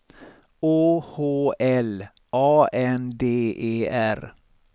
Å H L A N D E R